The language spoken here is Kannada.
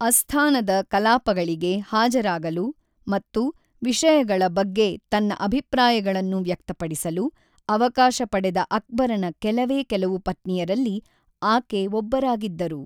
ಅಸ್ಥಾನದ ಕಲಾಪಗಳಿಗೆ ಹಾಜರಾಗಲು ಮತ್ತು ವಿಷಯಗಳ ಬಗ್ಗೆ ತನ್ನ ಅಭಿಪ್ರಾಯಗಳನ್ನು ವ್ಯಕ್ತಪಡಿಸಲು ಅವಕಾಶ ಪಡೆದ ಅಕ್ಬರನ ಕೆಲವೇ ಕೆಲವು ಪತ್ನಿಯರಲ್ಲಿ ಆಕೆ ಒಬ್ಬರಾಗಿದ್ದರು.